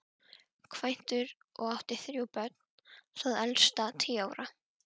Kvæntur og átti þrjú börn, það elsta tíu ára.